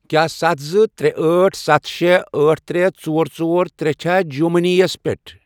کیٛاہ ستھَ، زٕ، ترے، أٹھ، ستھَ، شے، أٹھ، ترے، ژور، ژور، ترے، چھا جِیو مٔنی یَس پٮ۪ٹھ؟